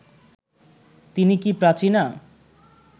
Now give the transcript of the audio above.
তিনি কি প্রাচীনা